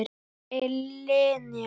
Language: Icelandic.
Hver er Linja?